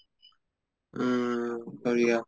উম বঢ়িয়া